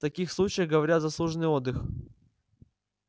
таких случаях говорят заслуженный отдых